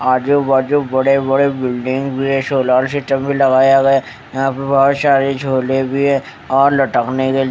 आजू बाजू बड़े बड़े बिल्डिंग भी है सोलर सिस्टम भी लगाया गया यहां पे बहोत सारे झोले भी है और लटकने के--